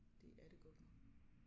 Det er det godt nok